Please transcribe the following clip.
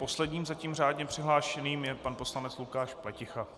Posledním zatím řádně přihlášeným je pan poslanec Lukáš Pleticha.